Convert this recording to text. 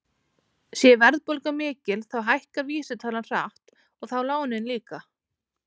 Sé verðbólga mikil þá hækkar vísitalan hratt og þá lánin líka.